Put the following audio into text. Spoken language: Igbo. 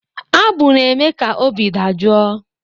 Abụ na-eme ka obi dajụọ.